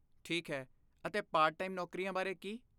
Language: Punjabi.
ਠੀਕ ਹੈ, ਅਤੇ ਪਾਰਟ ਟਾਈਮ ਨੌਕਰੀਆਂ ਬਾਰੇ ਕੀ?